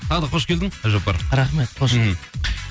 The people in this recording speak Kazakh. тағы да қош келдің әбдіжаппар рахмет қош мхм